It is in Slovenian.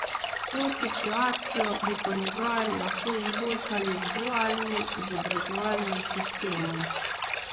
To situacijo bi po njegovem lahko izboljšali z dualnim izobraževalnim sistemom.